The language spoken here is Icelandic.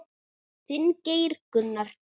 Þinn, Geir Gunnar.